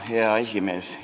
Hea esimees!